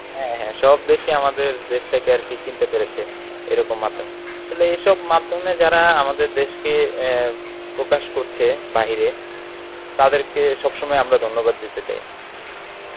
হ্যাঁ হ্যাঁ সব দেশই কি আমাদের দেশটাকে আর কি চিনতে পেরেছে এরকম মাধ্যমে. আসলে এসব মাধ্যমে যারা আমাদের দেশকে আহ প্রকাশ করছে বাহিরে তাদেরকে সব সময় আমরা ধন্যবাদ দিতে চাই.